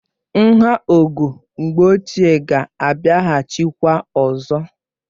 Nha ogo mgbe ochié ga abịahachi kwa ọzọ